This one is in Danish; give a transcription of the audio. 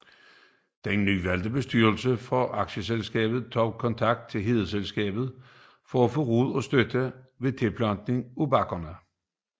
Den nyvalgte bestyrelse for aktieselskabet tog kontakt til Hedeselskabet for at få råd og støtte ved tilplantningen af bakkerne